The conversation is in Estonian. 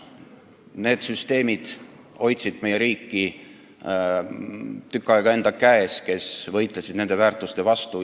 Meie riiki hoidsid tükk aega enda käes niisugused süsteemid, kes võitlesid nende väärtuste vastu.